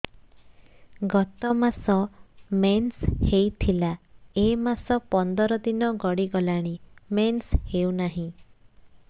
ଗତ ମାସ ମେନ୍ସ ହେଇଥିଲା ଏ ମାସ ପନ୍ଦର ଦିନ ଗଡିଗଲାଣି ମେନ୍ସ ହେଉନାହିଁ